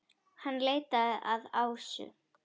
Hann leitar að Ásu.